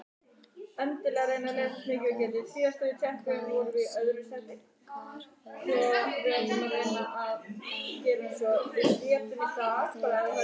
Kikka, hvaða sýningar eru í leikhúsinu á þriðjudaginn?